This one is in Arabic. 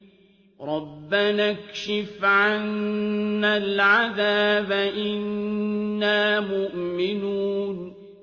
رَّبَّنَا اكْشِفْ عَنَّا الْعَذَابَ إِنَّا مُؤْمِنُونَ